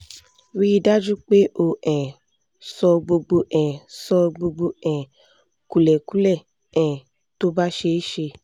rí i dájú pé o um sọ gbogbo um sọ gbogbo um kúlẹ̀kúlẹ̀ um tó bá ṣeé ṣe